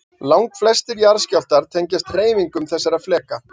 Langflestir jarðskjálftar tengjast hreyfingum þessara fleka.